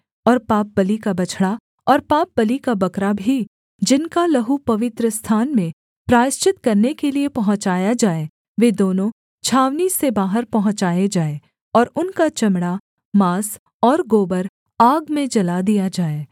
और पापबलि का बछड़ा और पापबलि का बकरा भी जिनका लहू पवित्रस्थान में प्रायश्चित करने के लिये पहुँचाया जाए वे दोनों छावनी से बाहर पहुँचाए जाएँ और उनका चमड़ा माँस और गोबर आग में जला दिया जाए